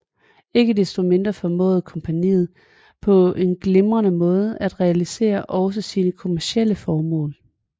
Ikke desto mindre formåede kompagniet på en glimrende måde at realisere også sine kommercielle formål